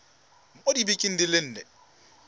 mo dibekeng di le nne